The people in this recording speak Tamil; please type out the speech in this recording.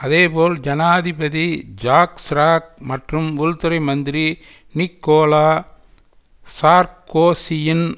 அதேபோல் ஜனாதிபதி ஜாக் சிராக் மற்றும் உள்துறை மந்திரி நிக்கோலா சார்க்கோசியின்